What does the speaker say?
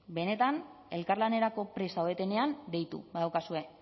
benetan elkarlanerako prest zaudetenean deitu badaukazue